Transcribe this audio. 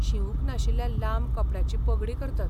शिवूंक नाशिल्ल्या लांब कपड्याची पगडी करतात.